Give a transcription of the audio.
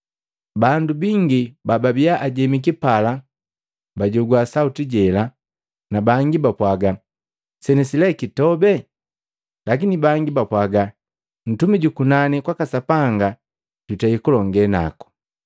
Bandu bingi bababiya ajemiki pala bajogwa sauti jela, na bangi bapwaga, “Senesi lee kitobe.” Lakini bangi bapwaga, “Ntumi jukunani kwaka Sapanga jutei kulonge naku!”